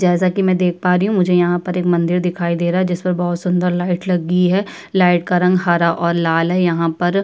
जैसा कि मैं देख पा रही हूं मुझे यहाँ पर एक मंदिर दिखाई दे रहा जिस पर बहुत सुंदर लाइट लगी है लाइट का रंग हरा और लाल है यहाँ पर --